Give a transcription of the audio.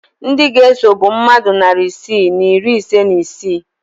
Ndị ga-eso bụ mmadụ narị isii na iri ise na isii